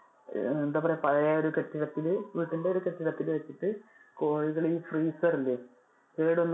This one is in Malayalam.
ഏർ എന്താ പറയാ പഴയൊരു കെട്ടിടത്തില് വീടിന്‍ടെ ഒരു കെട്ടിടത്തില് വെച്ചിട്ട് കോഴികൾ ഈ freezer ഇല്ലേ. കേടു വന്ന